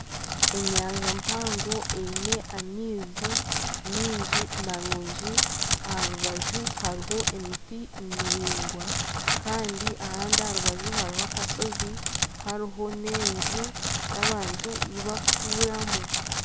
Enyanja mpango eine amaizi mingi marungi aha rubaju hariho emiti miraingwa kandi ahandi aha rubaju hariho akashozi hariho n'enju y'abantu ei bakutuuramu.